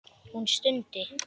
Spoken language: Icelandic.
Hún stundi.